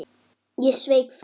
Ég sveik það.